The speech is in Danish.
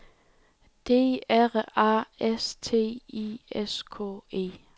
D R A S T I S K E